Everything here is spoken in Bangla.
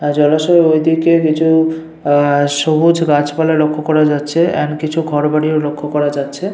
আর জলাশয়ের ঐদিকে কিছু আহ সবুজ গাছপালা লক্ষ্য করা যাচ্ছে এন্ড কিছু ঘর বাড়িও লক্ষ্য করা যাচ্ছে।